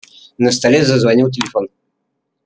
на столе зазвонил телефон